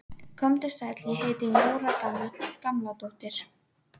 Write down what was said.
Komdu sæll, ég heiti Jóra Gamladóttir